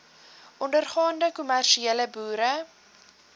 ondergaande kommersiële boere